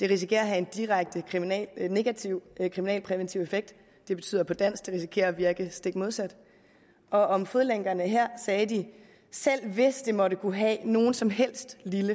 risikere at have en direkte negativ kriminalpræventiv effekt det betyder på dansk at det risikerer at virke stik modsat og om fodlænkerne her sagde de at selv hvis det måtte kunne have nogen som helst